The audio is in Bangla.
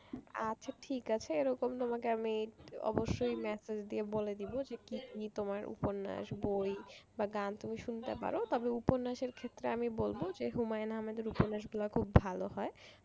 আচ্ছা ঠিক আছে এরকম তোমাকে আমি অবশ্যই massage দিয়ে বলে দেব যে কি কি তোমার উপন্যাস বই বা গান তুমি শুনতে পারো তবে উপন্যাসের ক্ষেত্রে আমি বলবো যে হুমায়ন আহম্মদের উপন্যাস গুলা খুব ভালো হয়।